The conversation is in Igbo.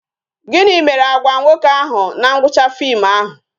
Gịnị mere Agwa nwoke ahụ na ngwụcha fim ahụ?